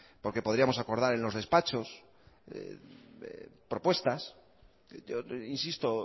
porque podríamos acordar en los despachos propuestas insisto